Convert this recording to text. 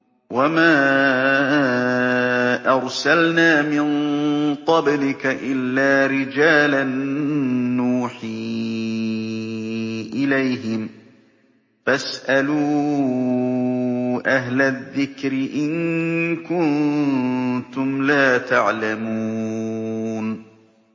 وَمَا أَرْسَلْنَا مِن قَبْلِكَ إِلَّا رِجَالًا نُّوحِي إِلَيْهِمْ ۚ فَاسْأَلُوا أَهْلَ الذِّكْرِ إِن كُنتُمْ لَا تَعْلَمُونَ